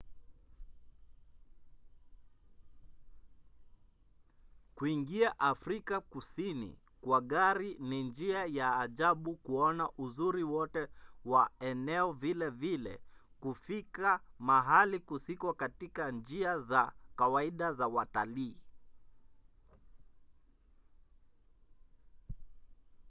kuingia afrika kusini kwa gari ni njia ya ajabu ya kuona uzuri wote wa eneo vilevile kufika mahali kusiko katika njia za kawaida za watalii